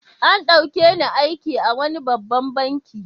An ɗauke ni aiki a wani babban banki.